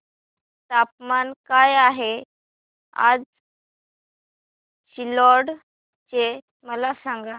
तापमान काय आहे आज सिल्लोड चे मला सांगा